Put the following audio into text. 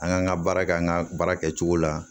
An kan ka baara kɛ an ka baara kɛcogo la